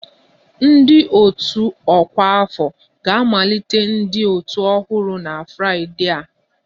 Ndị otu ọkwa afọ ga-amalite ndị otu ọhụrụ na Fraịdee a